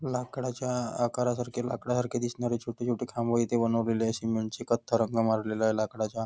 लाकडाच्या आकारासारखे लाकडा सारखे दिसणारे छोटे छोटे खांब इथे बनवलेले आहेत सिमेंट चे कत्था रंग मारलेला आहे लाकडाचा.